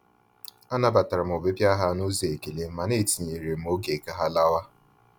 Anabatara m ọbịbịa ha n’ụzọ ekele, mana etinyere m oge ka ha lawa.